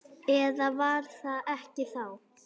Eða var það ekki þá?